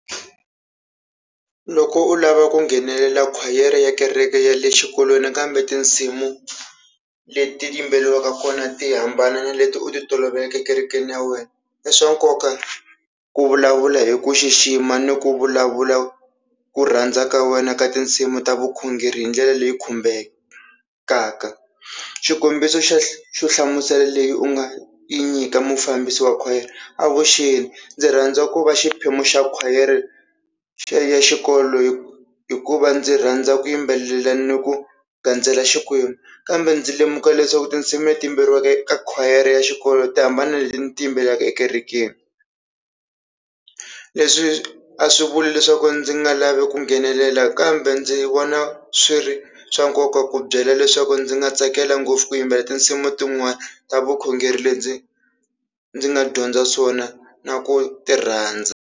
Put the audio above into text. Loko u lava ku nghenelela khwayere ya kereke ya le xikolweni kambe tinsimu leti yimbelariwaka kona ti hambana na leti u ti toloveleke ekerekeni ya wena, i swa nkoka ku vulavula hi ku xixima ni ku vulavula ku rhandza ka wena ka tinsimu ta vukhongeri hi ndlela leyi khumbekaka, xikombiso xa xo nhlamuselo leyi u nga yi nyika mufambisi wa khwayere, avuxeni ndzi rhandza ku va xiphemu xa khwayere ya xikolo hi hikuva ndzi rhandza ku yimbelela ni ku gandzela xikwembu, kambe ndzi lemuka leswaku tinsimu leti yimbelariwaka eka khwayere ya xikolo ti hambana leti ni ti yimbelelaka ekerekeni, leswi a swi vuli leswaku ndzi nga lavi ku nghenelela kambe ndzi vona swi ri swa nkoka ku byela leswaku ndzi nga tsakela ngopfu ku yimbelela tinsimu tin'wani ta vukhongeri le ndzi ndzi nga dyondza swona na ku ti rhandza.